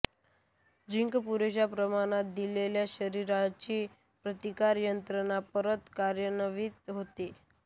zinc पुरेशा प्रमाणात दिल्याने शरीराची प्रतिकार यंत्रणा परत कार्यान्वित होते